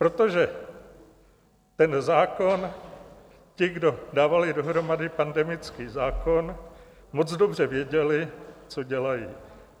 Protože ten zákon, ti, kdo dávali dohromady pandemický zákon, moc dobře věděli, co dělají.